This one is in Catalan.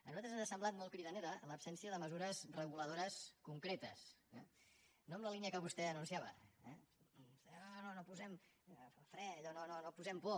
a nosaltres ens ha semblat molt cridanera l’absència de mesures reguladores concretes eh no en la línia que vostè anunciava eh no no no posem fre allò no posem por